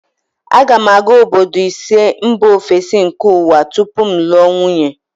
A ga m aga obodo ise mba ofesi nke ụwa tupu m lụọ nwunye